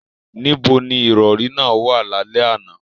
Níbo ni ìrọ̀rí náà wà lálẹ́ àná?